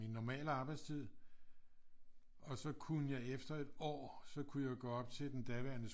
Min normale arbejdstid og så kunne jeg efter et år så kunne jeg gå op til den daværende